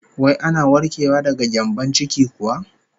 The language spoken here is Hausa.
Wai ana warkewa daga gyambon ciki kuwa?